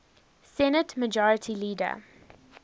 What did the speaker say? senate majority leader